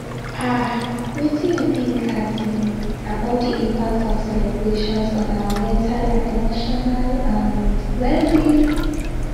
um wetin you think um about di impact of celebrations on our mental and emotional um wellbeing